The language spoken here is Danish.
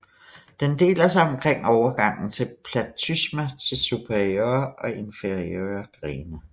Den deler sig omkring overgangen til platysma til superiore og inferiore grene